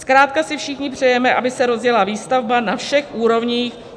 Zkrátka si všichni přejeme, aby se rozjela výstavba na všech úrovních.